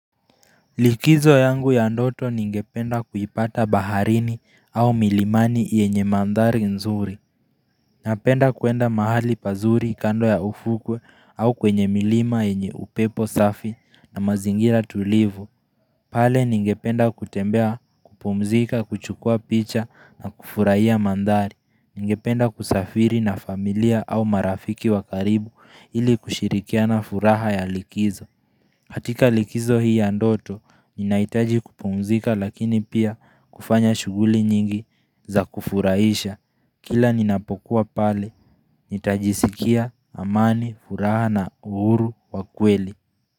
Likizo yangu ya ndoto ningependa kuipata baharini au milimani yenye mandhari nzuri. Napenda kuenda mahali pazuri kando ya ufukwe au kwenye milima yenye upepo safi na mazingira tulivu. Pale ningependa kutembea, kupumzika, kuchukuwa picha na kufurahiya mandhari. Ningependa kusafiri na familia au marafiki wakaribu ili kushirikia na furaha ya likizo. Katika likizo hii ya ndoto, ninaitaji kupumzika lakini pia kufanya shuguli nyingi za kufurahisha. Kila ninapokuwa pale, nitajisikia amani, furaha na uhuru wa kweli.